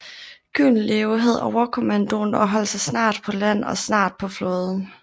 Gyldenløve havde overkommandoen og opholdt sig snart på land og snart på flåden